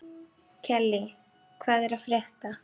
Kellý, hvað er að frétta?